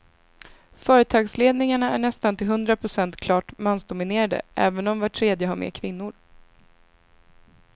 Företagsledningarna är nästan till hundra procent klart mansdominerade även om var tredje har med kvinnor.